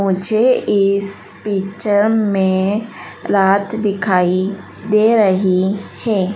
मुझे इस पिक्चर में रात दिखाई दे रही हैं।